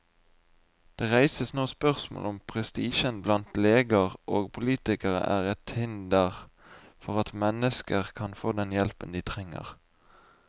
Det reises nå spørsmål om prestisjen blant leger og politikere er et hinder for at mennesker kan få den hjelpen de trenger.